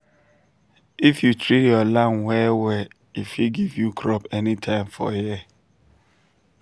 if you treat your land well well e fit give you crop anytime for year.